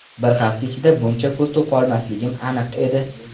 Bir hafta ichida buncha pul topolmasligim aniq edi.